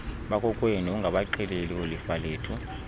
bakokwenu ungabaxeleli oolifalethu